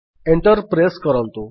enter press କରନ୍ତୁ